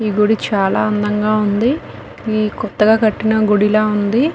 ఈ గుడి చాలా అందంగా ఉందికొత్తగా కట్టిన గుడిలావుంది.